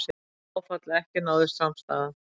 Áfall að ekki náðist samstaða